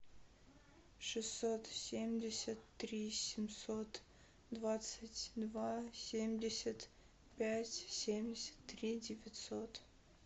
шестьсот семьдесят три семьсот двадцать два семьдесят пять семьдесят три девятьсот